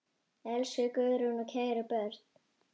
Elsku Guðrún og kæru börn.